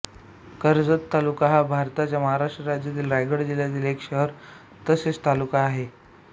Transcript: कर्जत तालुका हा भारताच्या महाराष्ट्र राज्यातील रायगड जिल्ह्याचा एक शहर तसेच तालुका आहे